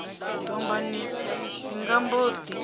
dombani dzi nga mbo ḓi